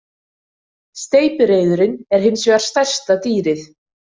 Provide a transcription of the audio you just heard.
Steypireyðurin er hins vegar stærsta dýrið.